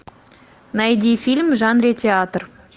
найди фильм в жанре театр